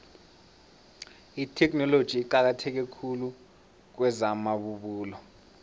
itheknoloji iqakatheke khulu kwezamabubulo